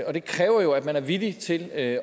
det kræver jo at man er villig til at